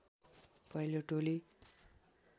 पहिलो टोली